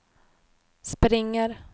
springer